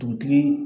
Dugutigi